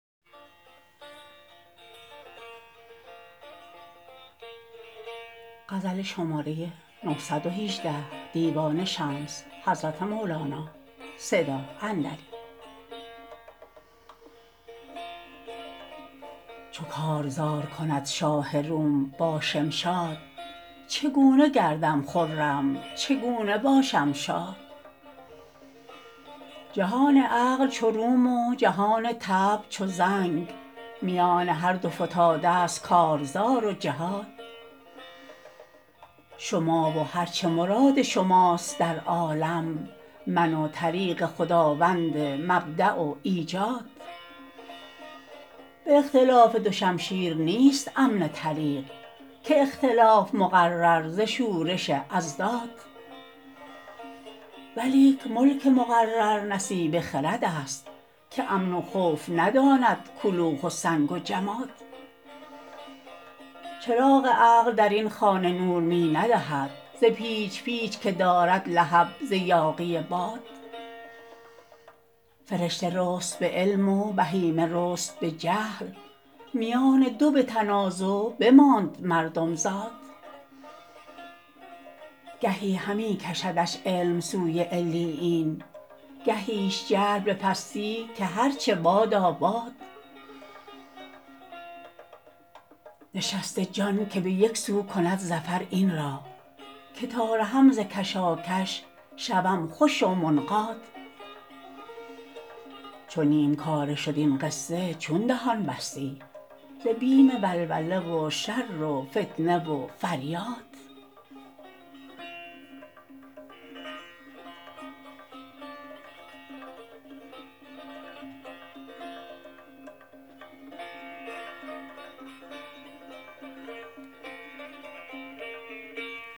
چو کارزار کند شاه روم با شمشاد چگونه گردم خرم چگونه باشم شاد جهان عقل چو روم و جهان طبع چو زنگ میان هر دو فتاده ست کارزار و جهاد شما و هر چه مراد شماست در عالم من و طریق خداوند مبدا و ایجاد به اختلاف دو شمشیر نیست امن طریق که اختلاف مقرر ز شورش اضداد ولیک ملک مقرر نصیبه خردست که امن و خوف نداند کلوخ و سنگ و جماد چراغ عقل در این خانه نور می ندهد ز پیچ پیچ که دارد لهب ز یاغی باد فرشته رست به علم و بهیمه رست به جهل میان دو به تنازغ بماند مردم زاد گهی همی کشدش علم سوی علیین گهیش جهل به پستی که هر چه بادا باد نشسته جان که به یک سو کند ظفر این را که تا رهم ز کشاکش شوم خوش و منقاد چو نیم کاره شد این قصه چون دهان بستی ز بیم ولوله و شر و فتنه و فریاد